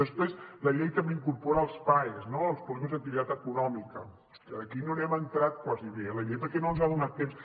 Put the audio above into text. després la llei també incorpora els paes no els polígons d’activitat econòmica que aquí no hi hem entrat gairebé eh a la llei perquè no hem tingut temps